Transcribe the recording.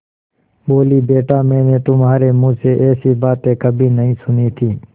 बोलीबेटा मैंने तुम्हारे मुँह से ऐसी बातें कभी नहीं सुनी थीं